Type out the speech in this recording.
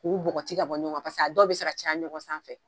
K'u bɔgɔti ka bɔ ɲɔgɔn kan paseke a dɔw bɛ se ka caya ɲɔgɔn sanfɛ.